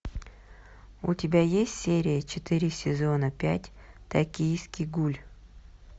у тебя есть серия четыре сезона пять токийский гуль